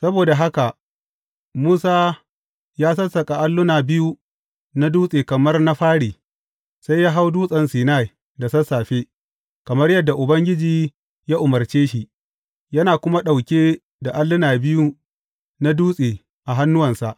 Saboda haka Musa ya sassaƙa alluna biyu na dutse kamar na fari, sai ya hau Dutsen Sinai da sassafe, kamar yadda Ubangiji ya umarce shi, yana kuma ɗauke da alluna biyu na dutse a hannuwansa.